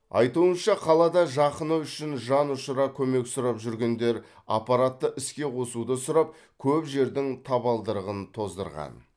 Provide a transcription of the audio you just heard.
айтуынша қалада жақыны үшін жанұшара көмек сұрап жүргендер аппаратты іске қосуды сұрап көп жердің табалдырығын тоздырған